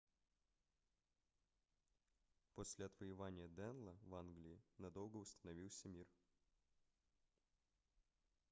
после отвоевания денло в англии надолго установился мир